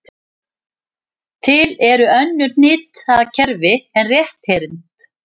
Til eru önnur hnitakerfi en rétthyrnd.